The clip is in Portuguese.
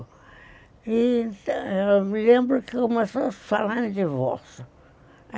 E eu me lembro que eu comecei a falar em divórcio.